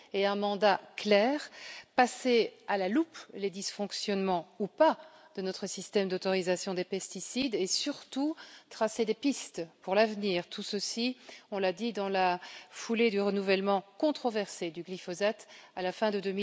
Elle était dotée d'un mandat clair passer à la loupe les dysfonctionnements, ou pas, de notre système d'autorisation des pesticides et surtout tracer des pistes pour l'avenir. Tout ceci intervenait, on l'a dit, dans la foulée du renouvellement controversé du glyphosate à la fin de